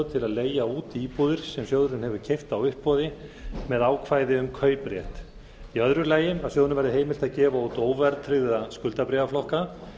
til að leigja út íbúðir sem sjóðurinn hefur keypt á uppboði með ákvæði um kauprétt í öðru lagi að sjóðnum verði heimilt að gefa út óverðtryggða skuldabréfaflokka